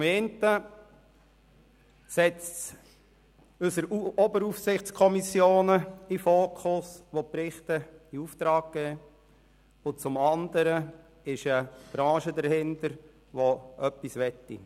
Zum einen setzt es unsere Oberaufsichtskommissionen, die Berichte in Auftrag geben, in den Fokus, und zum anderen steckt eine Branche dahinter, die etwas will.